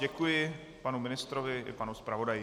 Děkuji panu ministrovi i panu zpravodaji.